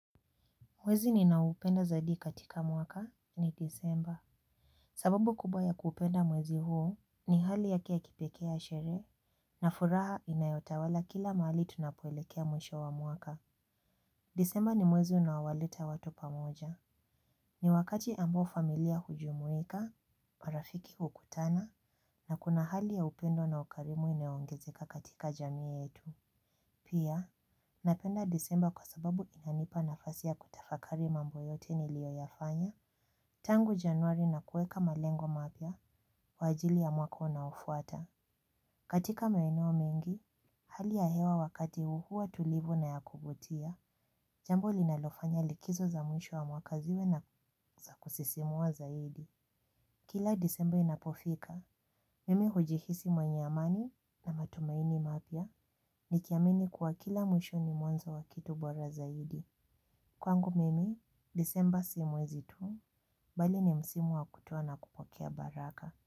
Mwezi ninaoupenda zaidi katika mwaka ni desemba. Sababu kubwa ya kuupenda mwezi huu ni hali yake ya kipekee ya sherehe na furaha inayotawala kila mahali tunapoelekea mwisho wa mwaka. Desemba ni mwezi unaowaleta watu pamoja. Ni wakati ambao familia hujumuika, marafiki hukutana na kuna hali ya upendo na ukarimu inayoongezeka katika jamii yetu. Pia, napenda desemba kwa sababu inanipa nafasi ya kutafakari mambo yote niliyoyafanya tangu januari na kuweka malengo mapya kwa ajili ya mwaka unaofuata. Katika maeneo mengi, hali ya hewa wakati huu huwa tulivu na ya kuvutia, jambo linalofanya likizo za mwisho wa mwaka ziwe za kusisimua zaidi. Kila desemba inapofika, mimi hujihisi mwenye amani na matumaini mapya nikiamini kuwa kila mwisho ni mwanzo wa kitu bora zaidi. Kwangu mimi, desemba si mwezi tu, bali ni msimu wa kutoa na kupokea baraka.